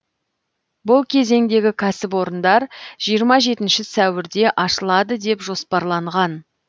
бұл кезеңдегі кәсіпорындар жиырма жетінші сәуірде ашылады деп жоспарланған